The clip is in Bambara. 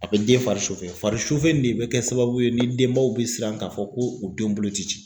A bɛ den fari fari in de bɛ kɛ sababu ye ni denbaw bɛ siran ka fɔ ko u denw bolo tɛ ci